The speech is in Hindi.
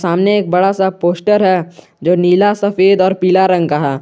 सामने एक बड़ा सा पोस्टर है जो नीला सफेद और पीला रंग का है।